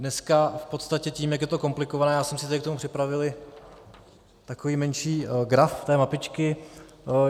Dneska v podstatě tím, jak je to komplikované - já jsem si tady k tomu připravil takový menší graf té mapičky .